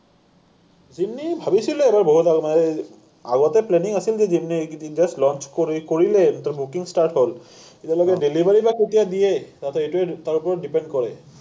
ভাবিছিলো এবাৰ বহুত আগতে, এই, আগতে planning আছিল ৰ। কিন্তু just launch কৰি, কৰিলে, তেতিয়া booking start হ’ল। তেতিয়ালৈকে delivery বা কেতিয়া দিয়ে, তাতে, এইটোৱেই তাৰ ওপৰত depend কৰে।